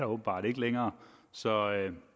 åbenbart ikke længere så